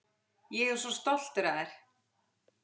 Ég er svo stoltur af þér.